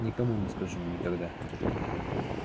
никому не скажу никогда